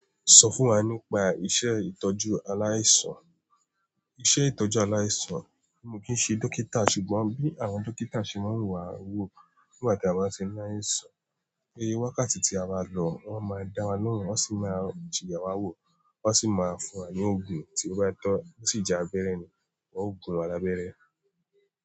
Sọ fún wa nípa iṣẹ́ ìtọ́jú aláìsàn. Iṣẹ́ ìtọ́jú aláìsàn, mo kì í ṣe dókítà, ṣùgbọ́n bí àwọn dókítà ṣe máa ń wà wò nígbà tí a bá ṣe aláìsàn. Gẹ́gẹ́ bí wákàtí tí a bá lọ, wọ́n máa dá wa lóhùn, wọ́n sì máa ye wá wò, wọ́n sì máa fún wa ní òògùn, tí ó bá tọ́, tí ìjà bẹ́rẹ́ ni, wọ́n óò gun wa lábẹ́rẹ́